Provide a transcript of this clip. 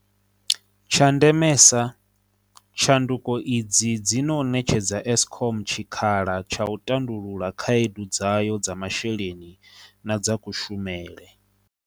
Tsha ndemesa, tshanduko idzi dzi ṅo ṅetshedza Eskom tshikhala tsha u tandulula khaedu dzayo dza masheleni na dza kushumele.